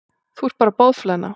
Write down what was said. Þú ert bara boðflenna.